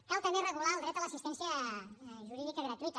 cal també regular el dret a l’assistència jurídica gratuïta